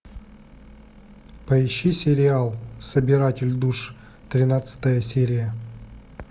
поищи сериал собиратель душ тринадцатая серия